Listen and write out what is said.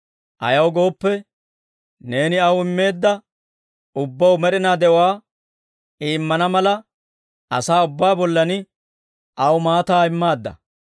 Ayaw gooppe, neeni aw immeedda ubbaw med'inaa de'uwaa I immana mala, asaa ubbaa bollan aw maataa immaadda.